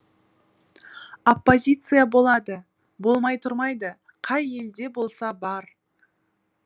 оппозиция болады болмай тұрмайды қай елде болса бар